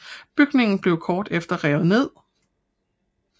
Bygningen blev kort efter revet ned